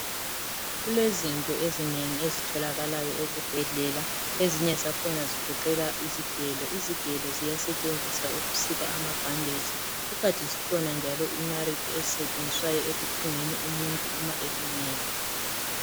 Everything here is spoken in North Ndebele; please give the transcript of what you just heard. Kulezinto ezinengi ezitholakalayo ezibhedlela ezinye zakhona zigoqela izigelo, izigelo ziyasetshenziswa ukusika ama bhandeji kukanti zikhona njalo inarithi ezisetshenziswayo ekuthungeni umuntu uma elimele.